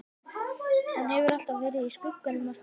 Hann hefur alltaf verið í skugganum af Stebba.